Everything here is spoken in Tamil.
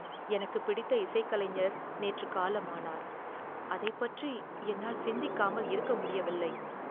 எனக்குப் பிடித்த இசைக் கலைஞர் நேற்று காலமானார், அதைப் பற்றி என்னால் சிந்திக்காமல் இருக்க முடியவில்லை.